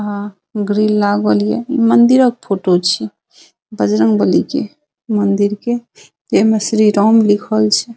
आ ग्रील लागल ये इ मंदिरा के फोटो छिये बजरंगबली के मंदिर के एमे श्री राम लिखल छै।